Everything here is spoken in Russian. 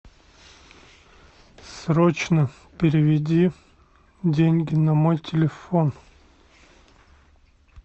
срочно переведи деньги на мой телефон